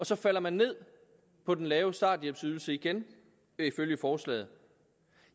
så falder man ned på den lave starthjælpsydelse igen ifølge forslaget